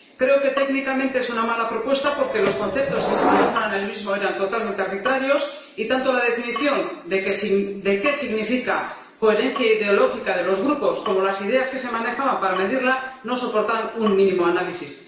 Creo que técnicamente es una mala propuesta porque los conceptos que se manejaban eran totalmente arbitrarios y tanto la definición de qué significa coherencia ideológica de los grupos como las ideas que se manejaban para medirla no soportaban un mínimo análisis.